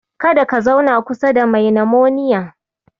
Kada ka zauna kusa da mai nimoniya.